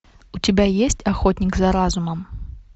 у тебя есть охотник за разумом